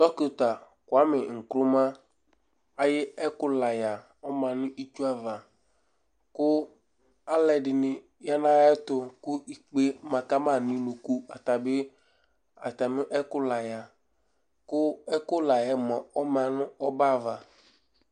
Dɔkɩta kʋamɩ ŋkruma ayʋ ɛkʋlayǝ ɔma nʋ itsu ava kʋ alʋɛdɩnɩ ya nʋ ayɛtʋ kʋ ikpe ma ka ma nʋ unuku Ata bɩ, atamɩ ɛkʋlayǝ kʋ ɛkʋlayǝ mʋa, ɔma nʋ ɔbɛ ava